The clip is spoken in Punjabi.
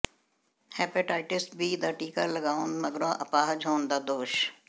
ਹੈਪੇਟਸਾਈਟਸ ਬੀ ਦਾ ਟੀਕਾ ਲਵਾਉਣ ਮਗਰੋਂ ਅਪਾਹਜ ਹੋਣ ਦਾ ਦੋਸ਼